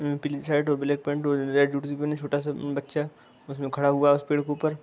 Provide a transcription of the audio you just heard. पीली शर्ट और black pant छोटा सा बच्चा उसमें खड़ा हुआ है उस पेड़ के ऊपर।